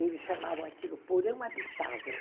Eles chamavam aquilo porão habitável.